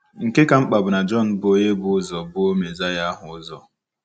Nke ka mkpa bụ na Jọn bụ onye bu ụzọ buo Mesaya ahụ ụzọ.